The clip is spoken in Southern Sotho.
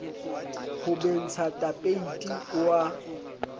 ho bentsha tapeiti o a